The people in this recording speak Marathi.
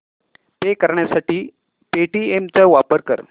पे करण्यासाठी पेटीएम चा वापर कर